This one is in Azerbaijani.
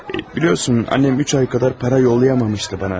Bilirsən, anam üç ay qədər pul yollaya bilməmişdi mənə.